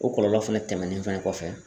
O kɔlɔlɔ fɛnɛ tɛmɛnen fɛnɛ kɔfɛ.